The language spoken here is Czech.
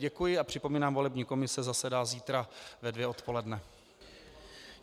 Děkuji a připomínám, volební komise zasedá zítra ve dvě odpoledne.